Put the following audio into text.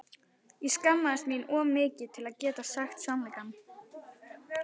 Ég skammaðist mín of mikið til að geta sagt sannleikann.